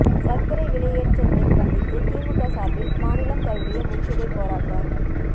சர்க்கரை விலையேற்றத்தை கண்டித்து திமுக சார்பில் மாநிலம் தழுவிய முற்றுகை போராட்டம்